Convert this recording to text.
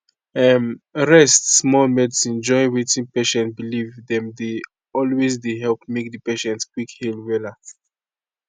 umrest small medicine join wetin patient believe dem dey always dey help make di patient quick heal wella